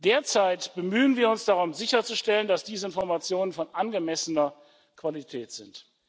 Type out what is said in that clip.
Derzeit bemühen wir uns darum sicherzustellen, dass diese Informationen von angemessener Qualität sind.